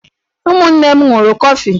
Ụmụnne m ṅụrụ kọfi.